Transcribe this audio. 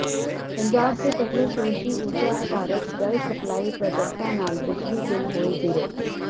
ਪੰਜਾਬ ਦੇ ਪਹਿਲੇ ਸੂਰਜੀ ਊਰਜਾ ਆਧਾਰਤ ਜਲ ਸਪਲਾਈ ਪ੍ਰਾਜੈਕਟਾਂ ਨਾਲ ਬਿਜਲੀ ਬਿਲ ਹੋਏ ਜ਼ੀਰੋ